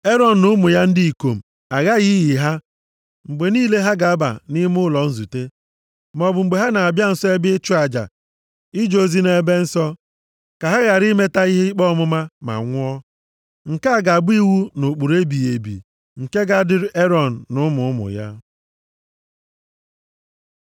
Erọn na ụmụ ya ndị ikom aghaghị iyi ha mgbe niile ha ga-aba nʼime ụlọ nzute, maọbụ mgbe ha na-abịa nso ebe ịchụ aja ije ozi nʼEbe Nsọ. Ka ha ghara imeta ihe ikpe ọmụma, ma nwụọ. “Nke a ga-abụ iwu na ụkpụrụ ebighị ebi, nke ga-adịrị Erọn na ụmụ ụmụ ya.